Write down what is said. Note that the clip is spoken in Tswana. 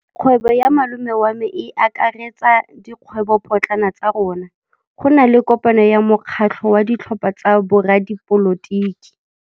Kgwêbô ya malome wa me e akaretsa dikgwêbôpotlana tsa rona. Go na le kopanô ya mokgatlhô wa ditlhopha tsa boradipolotiki.